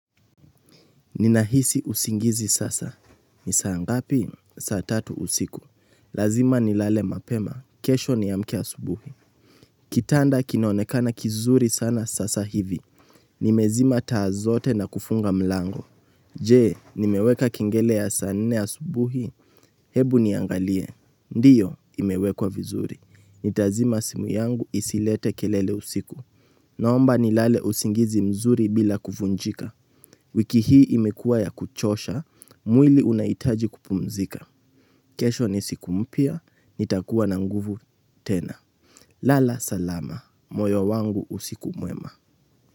Ninahisi usingizi sasa, ni saa ngapi? Saa tatu usiku, lazima nilale mapema, kesho niamke asubuhi Kitanda kinaonekana kizuri sana sasa hivi, nimezima taa zote na kufunga mlango Je, nimeweka kengele ya saa nne asubuhi, hebu niangalie, ndiyo imewekwa vizuri, nitazima simu yangu isilete kelele usiku Naomba nilale usingizi mzuri bila kuvunjika. Wiki hii imekuwa ya kuchosha, mwili unahitaji kupumzika. Kesho ni siku mpya, nitakuwa na nguvu tena. Lala salama, moyo wangu usiku mwema.